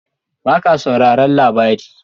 Ba ka sauraran labari??